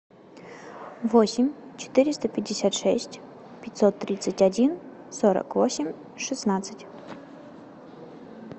восемь четыреста пятьдесят шесть пятьсот тридцать один сорок восемь шестнадцать